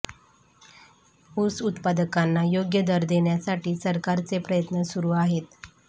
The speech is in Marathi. ऊस उत्पादकांना योग्य दर देण्यासाठी सरकारचे प्रयत्न सुरु आहेत